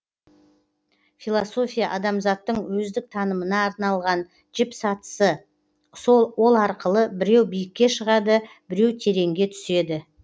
философия адамзаттың өздік танымына арналған жіп сатысы ол арқылы біреу биікке шығады біреу тереңге түседі